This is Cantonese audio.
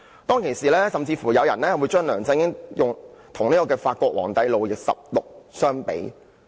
當時，有人甚至將梁振英與法國皇帝路易十六相比。